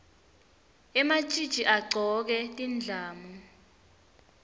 ematjitji agcoke tindlamu